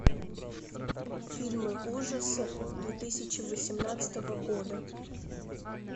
фильмы ужасов две тысячи восемнадцатого года